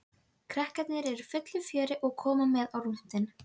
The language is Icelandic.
Krakkarnir eru í fullu fjöri og komu með á rúntinn.